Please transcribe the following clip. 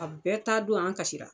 A bɛɛ taa don an kasisira!